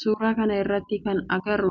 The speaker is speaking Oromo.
Suuraa kana irratti kana agarru